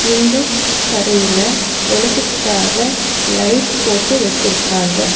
இந்தக் கடயில வெளிச்சத்துக்காக லைட் போட்டு வச்சுருக்காங்க.